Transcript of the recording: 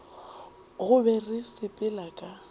go be re sepela ka